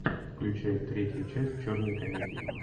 включай третья часть черной комедии